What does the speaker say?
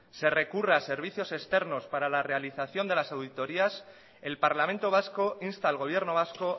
se recurra a servicios externos para la realización de las auditorías el parlamento vasco insta al gobierno vasco